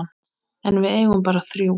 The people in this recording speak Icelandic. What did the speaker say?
En við eigum bara þrjú.